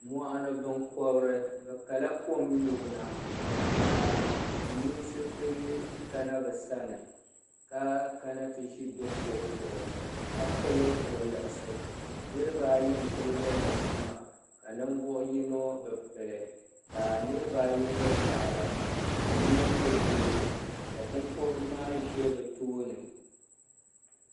Moɣuni binkobiri bɛ kala kom nyubuna ka silimiinsi ti kana bɛ sani ka kana ti ʒi kuɣu zuɣu ka pili woliɣisi niriba ayi m pili woliɣisi ka ninvuɣu yino bɛ pili ka niriba ayi nyɛ paɣaba ka yino nyɛ doo ka binkobiri maa ʒɛ bɛ tooni.